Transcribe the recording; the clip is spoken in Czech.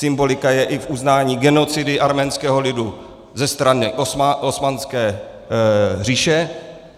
Symbolika je i v uznání genocidy arménského lidu ze strany Osmanské říše.